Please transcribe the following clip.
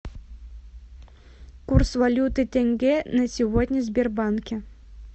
курс валюты тенге на сегодня в сбербанке